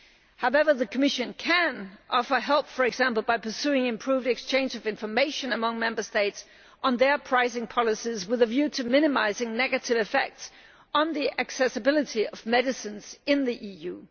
However, the Commission can offer help, for example, by pursuing improved exchanges of information among Member States on their pricing policies with a view to minimising negative effects on the accessibility of medicines in the EU.